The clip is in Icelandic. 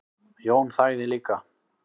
Jón þagði líka.